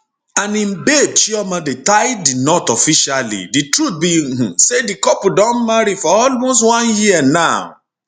and im babe chioma dey tie di knot officially di truth be um say di couple don marry for almost one year now